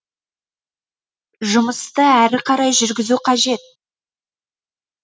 жұмысты әрі қарай жүргізу қажет